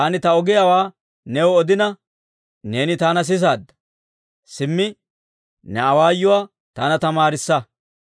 Taani ta ogiyaawaa new odina, neeni taana sisaadda; simmi, ne awaayuwaa taana tamaarissa.